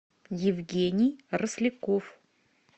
евгений росляков